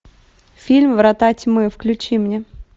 фильм врата тьмы включи мне